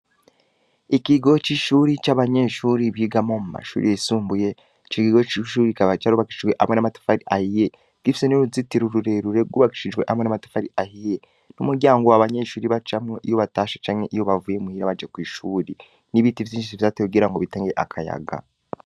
Ikigo c'abanyeshuri bigiramo mu mashuri risumbuye mur ico kigo kikaba carobakijwe amwa r'amatfari ah iye kaba ari i gorofa, ariko kigeretsweku rimwe ikikuge cicuri kabagikuse amwe n'ikibuga kineni abanyeshuri bakiniramwo iyo basohotse urbande rumwe akaba ari ivyatsi vyateye kugira ngo hase neza n'uru ndi uruwande akaba ari ivu.